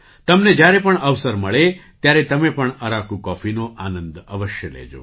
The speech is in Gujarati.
તમને જ્યારે પણ અવસર મળે ત્યારે તમે પણ અરાકુ કૉફીનો આનંદ અવશ્ય લેજો